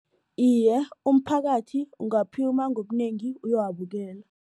Iye, umphakathi ungaphuma ngobunengi uyowabukela.